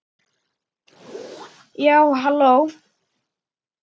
Já, halló!